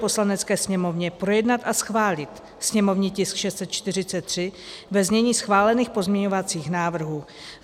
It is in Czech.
Poslanecké sněmovně projednat a schválit sněmovní tisk 643 ve znění schválených pozměňovacích návrhů.